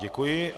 Děkuji.